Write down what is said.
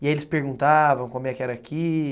E aí eles perguntavam como é que era aqui?